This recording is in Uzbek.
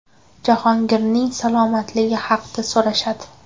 Jahongirning salomatligi haqda so‘rashadi.